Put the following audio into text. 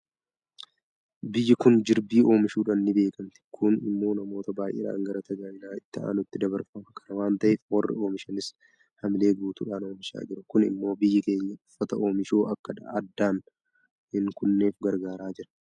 Biyyi kun jirbii oomishuudhaan ni beekamti. Kun immoo namoota baay'eedhaan gara tajaajila itti aanuutti dabarfama. Kana waanta ta'eef warri oomishanis haamilee guutuudhaan oomishaa jiru. Kun immoo biyyi keenya uffata oomishuu akka addaan hin kunneef gargaaraa jira.